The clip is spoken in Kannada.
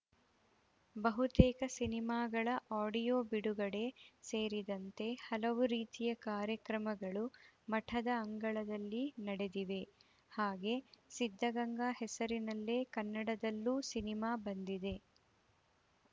ಬಹುತೇಕ ಸಿನಿಮಾಗಳ ಆಡಿಯೋ ಬಿಡುಗಡೆ ಸೇರಿದಂತೆ ಹಲವು ರೀತಿಯ ಕಾರ್ಯಕ್ರಮಗಳು ಮಠದ ಅಂಗಳದಲ್ಲಿ ನಡೆದಿವೆ ಹಾಗೆ ಸಿದ್ದಗಂಗಾ ಹೆಸರಿನಲ್ಲೇ ಕನ್ನಡದಲ್ಲೂ ಸಿನಿಮಾ ಬಂದಿದೆ